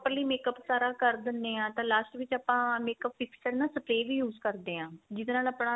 makeup ਸਾਰਾ ਕ਼ਰ ਦਿੰਨੇ ਆ ਤਾਂ last ਵਿੱਚ ਆਪਾਂ makeup fix ਕਰਨਾ spray ਵੀ use ਕਰਦੇ ਆ ਜਿਹੜੇ ਨਾਲ ਆਪਣਾ